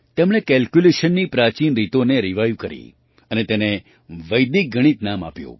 તેમણે કેલ્ક્યુલેશનની પ્રાચીન રીતોને રિવાઇવ કરી અને તેને વૈદિક ગણિત નામ આપ્યું